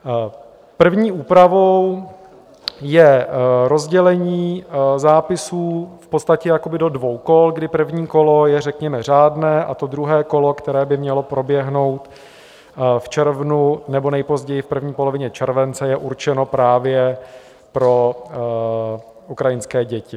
První úpravou je rozdělení zápisů v podstatě jakoby do dvou kol, kdy první kolo je řekněme řádné, a to druhé kolo, které by mělo proběhnout v červnu nebo nejpozději v první polovině července, je určeno právě pro ukrajinské děti.